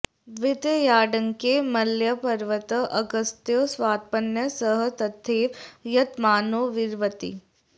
द्वितीयाङ्के मलयपर्वते अगस्त्यो स्वपत्न्या सह तथैव यतमानो वरीवर्ति